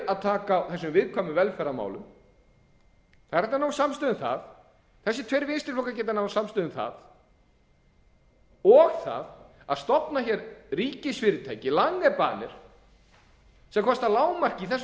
að taka á þessum viðkvæmu velferðarmálum það er hægt að ná samstöðu um það þessir tveir vinstri flokkar geta náð samstöðu um það og það að stofna ríkisfyrirtæki langebaner sem kosta að lágmarki í þessu